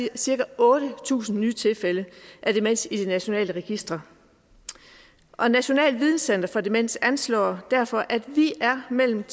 cirka otte tusind nye tilfælde af demens i de nationale registre og nationalt videnscenter for demens anslår derfor at vi er mellem